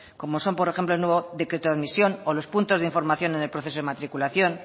como son por ejemplo el nuevo decreto de admisión o los puntos de información en el proceso de matriculación